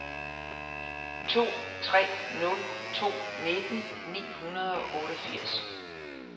to tre nul to nitten ni hundrede og otteogfirs